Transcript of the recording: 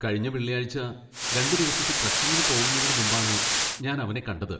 കഴിഞ്ഞ വെള്ളിയാഴ്ച രണ്ടു ദിവസത്തെ ട്രെക്കിന് പോകുന്നതിന് മുമ്പാണ് ഞാൻ അവനെ കണ്ടത്.